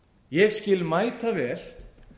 ég skil mætavel